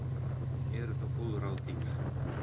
Eru þá góð ráð dýr.